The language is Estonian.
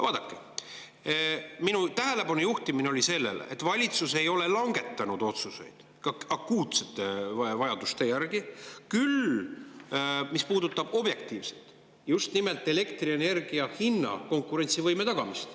Vaadake, ma juhtida tähelepanu sellele, et valitsus ei ole langetanud otsuseid, akuutsed vajadused – see puudutab objektiivselt just nimelt elektrienergia hinna konkurentsivõime tagamist.